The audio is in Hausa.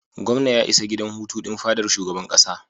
Gwamnan ya isa gidan hutu din fadar shugaban kasa.